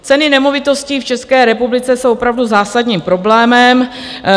Ceny nemovitostí v České republice jsou opravdu zásadním problémem.